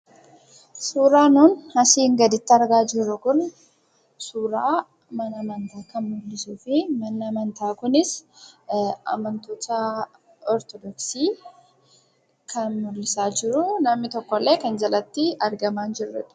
Suuraa nuun asiin gaditti argaa jirru Kuni suuraa mana amantaa kan muldhisuu fi manni amanta Kunis amantoota Ortodooksii kan muldhisaa jiru, namni tokkollee kan jalatti argamaa jirudha.